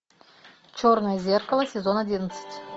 черное зеркало сезон одиннадцать